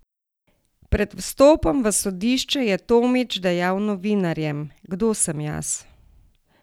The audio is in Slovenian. Pred vstopom v sodišče je Tomić dejal novinarjem: 'Kdo sem jaz?